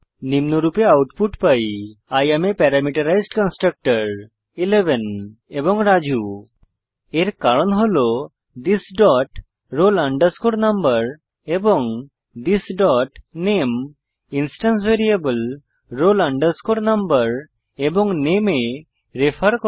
নিম্নরূপে আউটপুট পাই I am parameterised constructor 11 এবং রাজু এর কারণ হল থিস ডট roll number এবং থিস ডট নামে ইন্সট্যান্স ভ্যারিয়েবল roll number এবং নামে এ রেফার করে